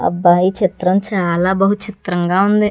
అబ్బ ఈ చిత్రం చాలా బహు చిత్రంగా ఉంది.